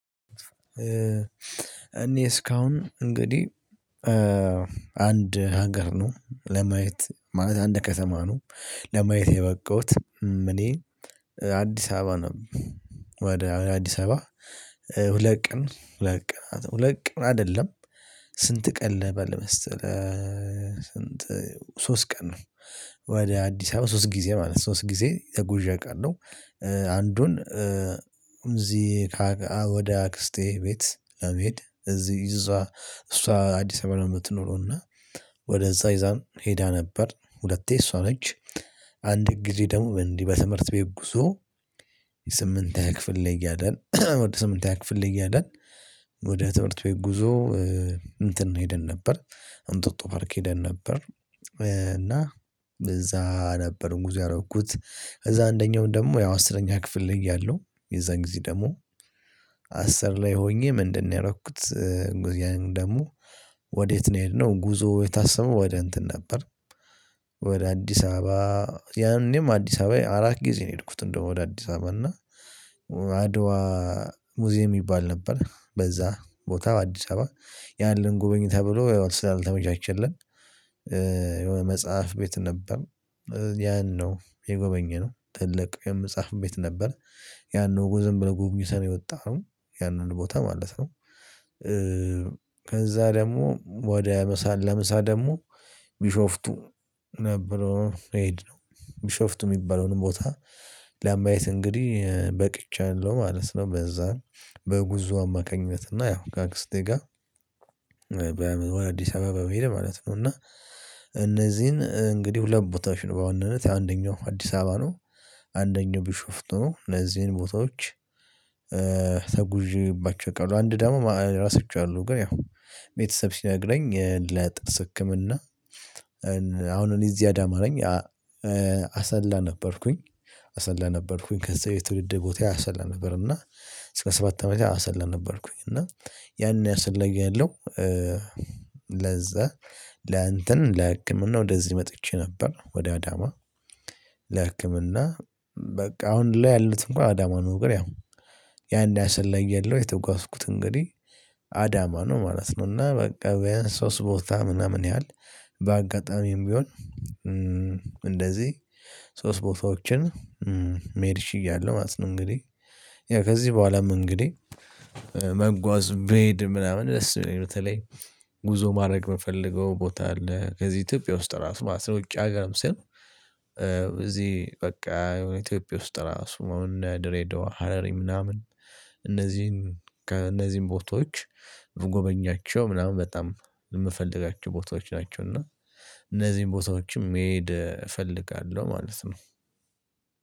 እኔ እስካሁን እንግዲህ አንድ ሀገር ነው ለማየት ማለት አንድ ከተማ ነው። ለማየት የበቃሁት እኔ አዲስ አበባ ነው ወደ አዲስ አበባ ሁለት ቀን ሁለት ቀን ሁለት ቀን አይደለም። ስንት ቀለበል ለመስተለ ስንት ሶስት ቀን ነው። ወደ አዲስ አበባ ሶስት ጊዜ ማለት ነው ሶስት ጊዜ ጉዥ አውቃለሁ። አንዱን እዚህ ወደ አክስቴ ቤት ለመሄድ እዚህ እዛ እሷ አዲስ አበባ ነው የምትኖረው እና። ወደዛ እዛም ሄዳ ነበር ሁለቴ እሷ ነች። አንድ ጊዜ ደግሞ እንዲህ በትምህርት ቤት ጉዞ የስምንት ክፍል ላይ እያደል ስምንተ ክፍል ላይ እያደል ወደ ትምህርት ቤት ጉዞ እንትን ነው ይሄድን ነበር። እንጦጦ ፓርክ ሄደን ነበር እና እዛ ነበር ሙዚያ ያደረኩት። ከዛ አንደኛው ደግሞ ያው አስረኛ ክፍል ልይ እያለሁ የዛን ጊዜ ደግሞ አስር ላይ ሆኜ ምንድነው የረኩት? ደግሞ ወዴት ነው የሄድነው ጉዞው የታሰመው ወደ እንትን ነበር። ወደ አዲስ አበባ። ያኔም አዲስ አበባዬ አራት ጊዜ ነው የሄድኩት እንደው ወደ አዲስ አበባ እና አድዋ ሙዚየም ይባል ነበር በዛ ቦታ አዲስ አበባ። ያለን ጉበኝ ተብሎ ስላልተመቻቸልን የሆነ መጽሐፍ ቤት ነበር። ያን ነው የጎበኘነው ነው ጥልቅ የመጽሐፍ ቤት ነበር። ያን ነው ዝም ብለህ ጎብኝተህ ነው የወጣህ ነው ያንን ቦታ ማለት ነው። ከዛ ደግሞ ወደ ምሳል ለምሳ ደግሞ ቢሾፍቱ ነበረው መሄድ ቢሾፍቱ የሚባለውንም ቦታ ለአምባይት እንግዲህ በቅቻለሁ ማለት ነው። በዛን በጉዞ አማካኝነት እና ያው ከአክስቴ ጋር። በአዲስ አበባ በመሄድ ማለት ነው። እና እነዚህን እንግዲህ ሁለት ቦታዎች ነው በዋነነት አንደኛው አዲስ አበባ ነው። አንደኛው ቢሹፍት ነው ለዚህን ቦታዎች። ተጉዤባቸው ቀሉ አንድ ደግሞ ራሳቸው አሉ ግን ያው ቤተሰብ ሲነግረኝ ለጥርስ ህክምና። አሁን እኔ እዚህ አዳማረኝ አሰላ ነበርኩኝ። አሰላ ነበርኩኝ ከዛ የትውልድ ቦታ አሰላ እና እስከ ሰባት አመት ያሰለነበርኩኝ እና ያን ያሰለኘሁኝ ያለው። ለዛ ለእንትን ለህክምና ወደዚህ መጥቼ ነበር ወደ አዳማ። ለህክምና በቃ አሁን ላይ ያሉት እንኳን አዳማ ነው። ያው ያን ያሰለየለው የተጓዝኩት እንግዲህ አዳማ ነው ማለት ነው። እና በቃ ያን ሶስት ቦታ ምናምን ያህል በአጋጣሚም ቢሆን። እንደዚህ ሶስት ቦታዎችን መሄድሽ እያለ ማለት ነው እንግዲህ ያ ከዚህ በኋላም እንግዲህ። መጓዝ በሄድ ምናምን ለስ በተለይ ጉዞ ማድረግ የምፈልገው ቦታ አለ። ከዚህ ኢትዮጵያ ውስጥ ራሱ ማለት ነው ውጭ ሀገርም ስል። እዚህ በቃ የኢትዮጵያ ውስጥ ራሱ መሆን ድሬዳዋ ሀረሪ ምናምን እነዚህን ከእነዚህን ቦታዎች ጎበኛቸው ምናምን በጣም የምፈልጋቸው ቦታዎች ናቸው። እና እነዚህን ቦታዎችም መሄድ እፈልጋለሁ ማለት ነው።